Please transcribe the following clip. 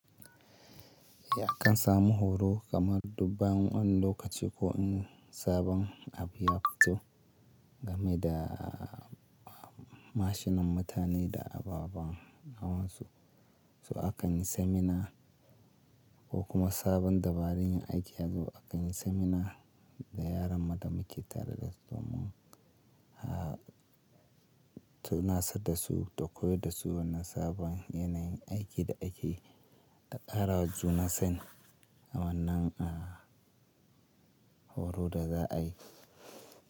Eh akan samu horo kamar duk bayan wani lokaci ko in sabon abu ya fito game da mashinan mutane da ababen hawansu. Su akan yi seminar ko kuma sabon dabarun yin aiki yazo akan yi seminar da yaran ma da muke tare da su mun tunasar dasu da koyar dasu na sabon yanayin aiki da aike da ƙara wa juna sani a wannan horo da za a yi.